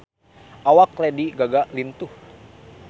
Awak Lady Gaga lintuh